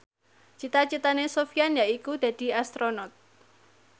cita citane Sofyan yaiku dadi Astronot